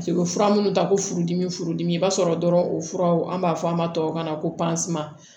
Paseke u bɛ fura minnu ta ko furudimi furudimi i b'a sɔrɔ dɔrɔn o furaw an b'a fɔ an ma tubabukan na ko